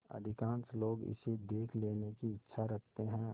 अधिकांश लोग इसे देख लेने की इच्छा रखते हैं